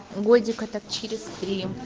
годика так через три